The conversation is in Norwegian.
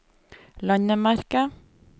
landemerke